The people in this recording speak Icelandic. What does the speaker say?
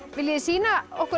viljið þið sýna okkur